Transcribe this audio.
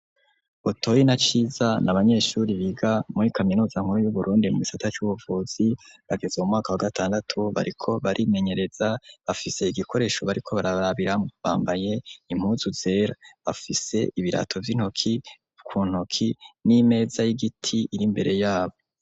Butoyi na Ciza n'abanyeshure biga muri Kaminuza nkuru y'Uburundi mugisata c'ubuvuzi, bageze mumwaka wa gatandatu bariko barimenyereza , bafise igikoresho bariko bararabiramwo, bambaye impuzu zera, bafise ibirato vy'intoki kuntoki n'imeza y'igiti ir'imbere yabo.